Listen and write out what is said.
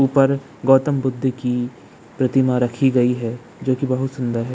ऊपर गौतम बुद्ध की प्रतिमा रखी गई है जो की बहुत सुंदर है।